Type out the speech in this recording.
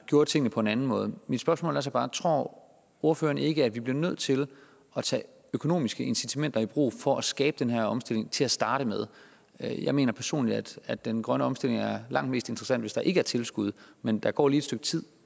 gjorde tingene på en anden måde mit spørgsmål er så bare tror ordføreren ikke at vi bliver nødt til at tage økonomiske incitamenter i brug for at skabe den her omstilling til at starte med jeg mener personligt at den grønne omstilling er langt mere interessant hvis der ikke er tilskud men der går lige et stykke tid